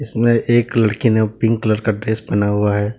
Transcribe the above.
में एक लड़की ने पिंक कलर का ड्रेस पहना हुआ है।